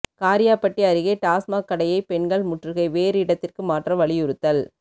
காரியாபட்டி அருகே டாஸ்மாக் கடையை பெண்கள் முற்றுகை வேறு இடத்திற்கு மாற்ற வலியுறுத்தல்